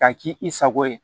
K'a k'i sago ye